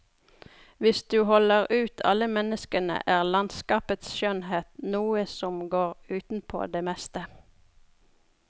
Hvis du holder ut alle menneskene er landskapets skjønnhet noe som går utenpå det meste.